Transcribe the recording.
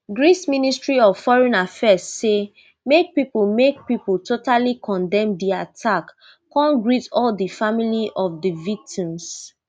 greeceministry of foreign affairs say make pipo make pipo totally condemn di attack come greet all di family of di victims